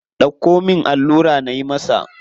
Dauko min allura nayi masa.